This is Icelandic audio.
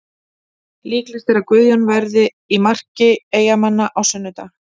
Líklegt er að Guðjón verði í marki Eyjamanna á sunnudag.